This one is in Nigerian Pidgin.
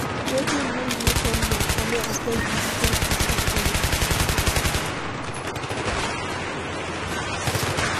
Wetin bring you come now? I no expect visitors this afternoon.